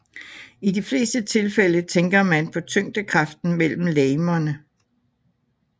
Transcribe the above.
I de fleste tilfælde tænker man på tyngdekraften mellem legemerne